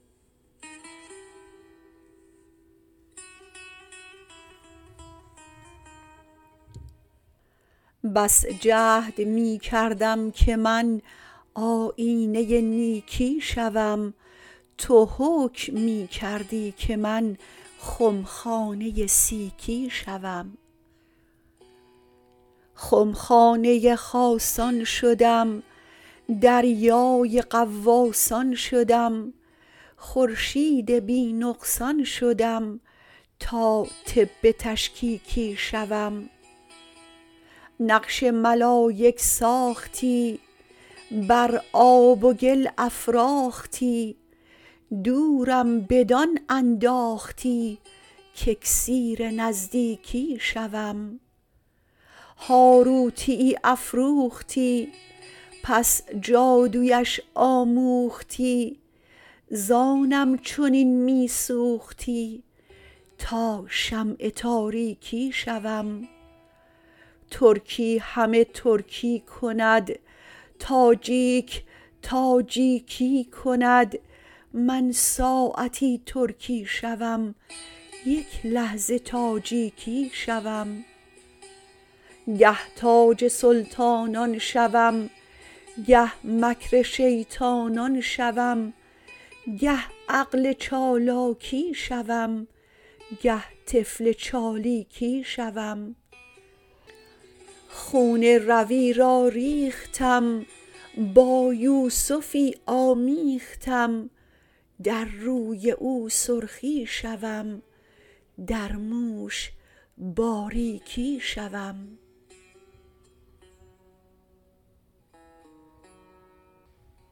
بس جهد می کردم که من آیینه نیکی شوم تو حکم می کردی که من خمخانه سیکی شوم خمخانه خاصان شدم دریای غواصان شدم خورشید بی نقصان شدم تا طب تشکیکی شوم نقش ملایک ساختی بر آب و گل افراختی دورم بدان انداختی کاکسیر نزدیکی شوم هاروتیی افروختی پس جادویش آموختی زآنم چنین می سوختی تا شمع تاریکی شوم ترکی همه ترکی کند تاجیک تاجیکی کند من ساعتی ترکی شوم یک لحظه تاجیکی شوم گه تاج سلطانان شوم گه مکر شیطانان شوم گه عقل چالاکی شوم گه طفل چالیکی شوم خون روی را ریختم با یوسفی آمیختم در روی او سرخی شوم در موش باریکی شوم